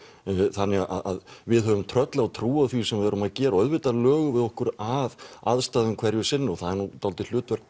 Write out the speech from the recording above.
þannig við höfum tröllatrú á því sem við erum að gera og auðvitað lögum við okkur að aðstæðum hverju sinni og það er dálítið hlutverk